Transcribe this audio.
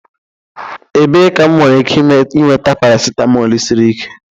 Ebee ka m nwere ike nweta paracetamol siri ike?